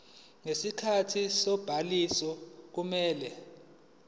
ngesikhathi sobhaliso kumele